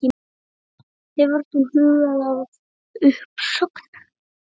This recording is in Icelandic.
Hefur þú hugað að uppsögn?